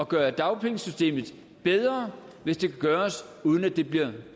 gøre dagpengesystemet bedre hvis det kan gøres uden at det bliver